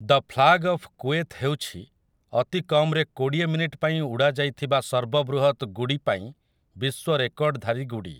The flag of Kuwait ହେଉଛି ଅତି କମରେ କୋଡ଼ିଏ ମିନିଟ୍ ପାଇଁ ଉଡ଼ାଯାଇଥିବା ସର୍ବ ବୃହତ୍ ଗୁଡ଼ି ପାଇଁ ବିଶ୍ୱରେକର୍ଡଧାରୀ ଗୁଡ଼ି ।